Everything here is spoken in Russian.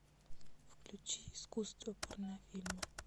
включи искусство порнофильмы